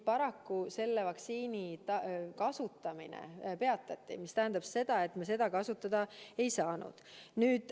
Paraku selle vaktsiini kasutamine peatati, mis tähendab seda, et meie ka seda kasutada ei saanud.